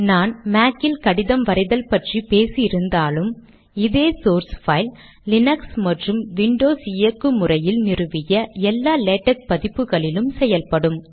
நான் மேக் இல் கடிதம் வரைதல் பற்றி பேசி இருந்தாலும் இதே ஸோர்ஸ் பைல் லினக்ஸ் மற்றும் விண்டோஸ் இயக்கு முறையில் நிறுவிய எல்லா லேடக் பதிப்புகளிலும் செயல்படும்